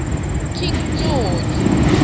king george